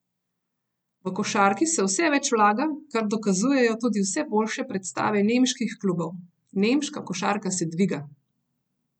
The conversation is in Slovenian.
V košarki se vse več vlaga, kar dokazujejo tudi vse boljše predstave nemških klubov: "Nemška košarka se dviga.